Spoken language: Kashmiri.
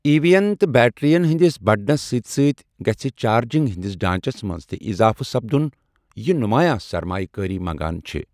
ای وی ین تہٕ بیٹرِین ہندِس بڈنس سۭتۍ سۭتۍ گژھِ چارجِنگ ہندِس ڈانچس منز تہِ اضافہٕ سپدن ، یہِ نمایاں سرمایہ كٲری منگان چھےٚ ۔